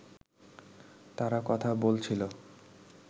তারা কথা বলছিল